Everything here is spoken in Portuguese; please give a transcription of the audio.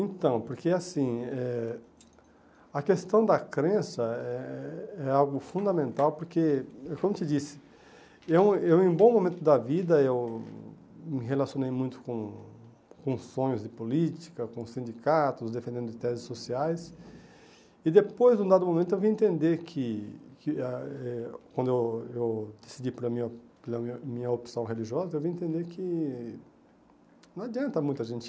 Então, porque assim, eh a questão da crença é é algo fundamental, porque, como eu te disse, eu eu, em um bom momento da vida, eu me relacionei muito com com sonhos de política, com sindicatos, defendendo teses sociais, e depois, num dado momento, eu vim entender que que ah eh, quando eu eu decidi pela minha pela minha minha opção religiosa, eu vim entender que não adianta muito a gente